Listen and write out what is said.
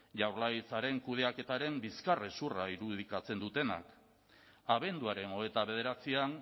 jaurlaritzaren kudeaketaren bizkarrezurra irudikatzen dutenak abenduaren hogeita bederatzian